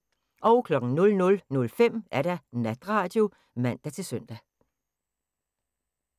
00:05: Natradio (man-søn)